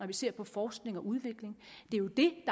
vi ser på forskning og udvikling det jo det